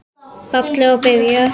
Ballið að byrja.